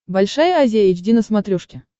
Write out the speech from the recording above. большая азия эйч ди на смотрешке